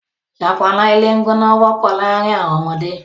Ṣọpọnna ìlẹ̀gbọ̀nà wọpọ̀ laárìn awọn ọmọdé.